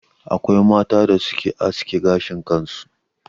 Akwai mata da suke aske gashin kansu.